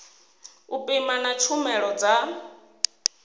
u pima na tshumelo dza